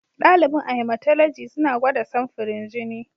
Dalibin a Hematology suna gwada samfurin jini.